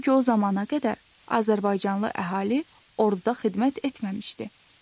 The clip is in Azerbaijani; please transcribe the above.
Çünki o zamana qədər azərbaycanlı əhali orduda xidmət etməmişdi.